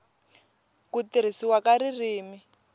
n ku tirhisiwa ka ririmi